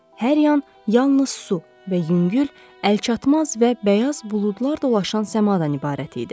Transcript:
Hər yan yalnız su və yüngül, əlçatmaz və bəyaz buludlar dolaşan səmadan ibarət idi.